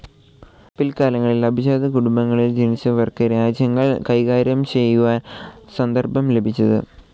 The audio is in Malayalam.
പില്ക്കാലങ്ങളിൽ അഭിജാത കുടുംബങ്ങളിൽ ജനിച്ചവർക്കാണ് രാജ്യകാര്യങ്ങൾ കൈകാര്യം ചെയ്യുവാൻ സന്ദർഭം ലഭിച്ചത്.